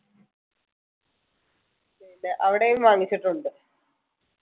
ന്നെ അവിടെയും വാങ്ങിച്ചിട്ടുണ്ട്.